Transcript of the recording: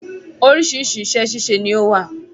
Oríṣiríṣi iṣẹ́ ṣíṣe ni ó wà.